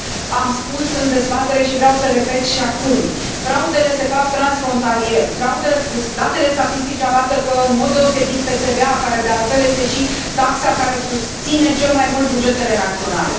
Am spus în dezbatere și vreau să repet și acum fraudele se fac transfrontalier, datele statistice arată că în mod deosebit pe TVA, care de altfel este și taxa care susține cel mai mult bugetele naționale.